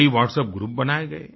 कईWhatsapp group बनाए गए